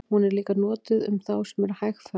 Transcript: hún er líka notuð um þá sem eru hægfara